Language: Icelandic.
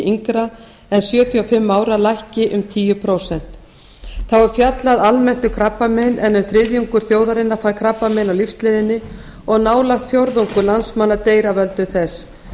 yngra en sjötíu og fimm ára lækki um tíu prósent þá er fjallað almennt um krabbamein en um þriðjungur þjóðarinnar fær krabbamein á lífsleiðinni og nálægt fjórðungur landsmanna deyr af völdum þess